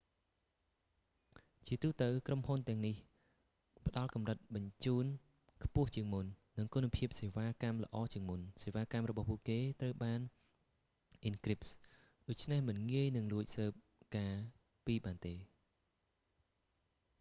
ជាទូទៅ ក្រុមហ៊ុនទាំងនេះផ្តល់កម្រិតបញ្ជូនខ្ពស់ជាងមុន និងគុណភាពសេវាកម្មល្អជាងមុន សេវាកម្មរបស់ពួកគេត្រូវបានអ៊ិនគ្រីប ដូច្នេះមិនងាយនឹងលួចស៊ើបការណ៍ពីបានទេ